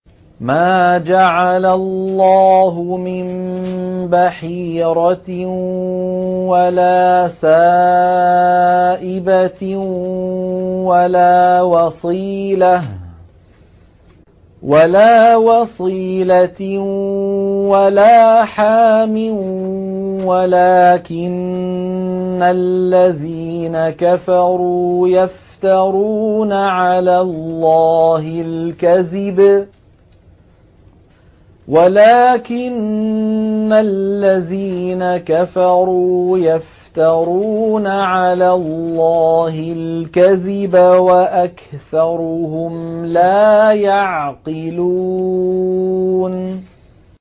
مَا جَعَلَ اللَّهُ مِن بَحِيرَةٍ وَلَا سَائِبَةٍ وَلَا وَصِيلَةٍ وَلَا حَامٍ ۙ وَلَٰكِنَّ الَّذِينَ كَفَرُوا يَفْتَرُونَ عَلَى اللَّهِ الْكَذِبَ ۖ وَأَكْثَرُهُمْ لَا يَعْقِلُونَ